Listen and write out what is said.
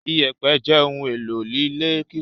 Ìyẹ̀pẹ̀ jẹ́ ohun-èlò ilé kíkọ́.